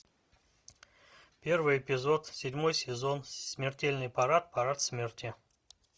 первый эпизод седьмой сезон смертельный парад парад смерти